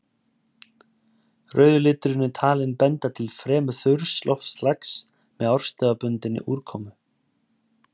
Rauði liturinn er talinn benda til fremur þurrs loftslags með árstíðabundinni úrkomu.